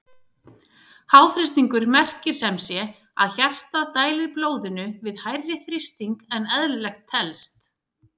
Háþrýstingur merkir sem sé að hjartað dælir blóðinu við hærri þrýsting en eðlilegt telst.